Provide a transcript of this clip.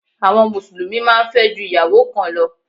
Àwọn Mùsùlùmí máa ń fẹ́ ju ìyàwó kan lọ